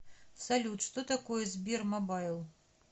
салют что такое сбермобайл